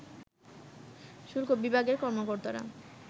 শুল্ক বিভাগের কর্মকর্তারা